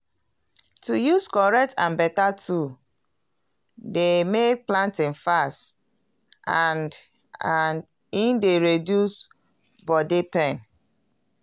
to use correct and beta tool dey may planting fast and and e d reduce body pain.